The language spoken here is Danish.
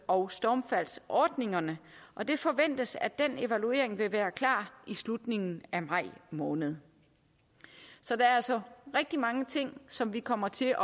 og stormfaldsordningerne og det forventes at den evaluering vil være klar i slutningen af maj måned så der er altså rigtig mange ting som vi kommer til